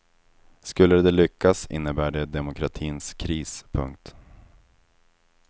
Skulle de lyckas innebär det demokratins kris. punkt